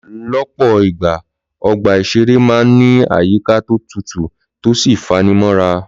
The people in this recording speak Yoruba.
Lọ́pọ̀ ìgbà, ọgbà ìṣeré máa ń ní àyíká tó tutù tó sì fanimọ́ra